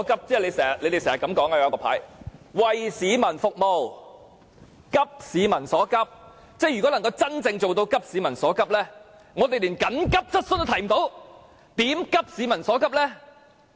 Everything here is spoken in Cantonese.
他們經常擺放的牌是這樣寫的："為市民服務急市民所急"，如果要真正做到急市民所急，但我們連急切質詢也無法提出，如何急市民所急呢？